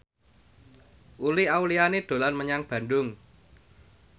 Uli Auliani dolan menyang Bandung